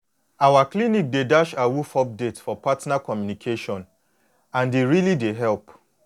our clinic dey dash awoof update for partner communication and e really dey help